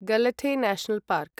Galathea national park